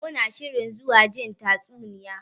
Muna shirin zuwa jin tatsuniya.